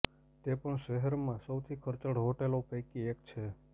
તે પણ શહેરમાં સૌથી ખર્ચાળ હોટલો પૈકી એક છે